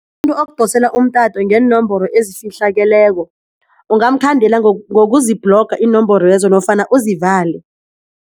Umuntu okudosela umtato ngeenomboro ezifihlakeleko ungamkhandela ngokuzibhloga iinomboro lezo nofana uzivale.